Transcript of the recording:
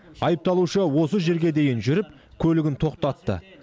айыпталушы осы жерге дейін жүріп көлігін тоқтатты